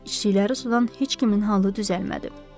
İçdikləri sudan heç kimin halı düzəlmədi.